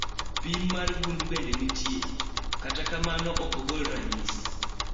pim mar gund bende nitie, kata kamano okogol ranyisi